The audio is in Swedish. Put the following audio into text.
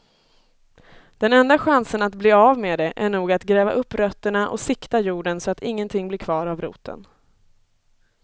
Den enda chansen att bli av med det är nog att gräva upp rötterna och sikta jorden så att ingenting blir kvar av roten.